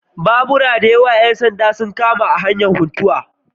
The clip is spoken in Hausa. Babura da yawa ‘yan sanda sun kama hanyar Funtua